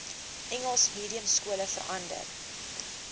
engels mediumskole verander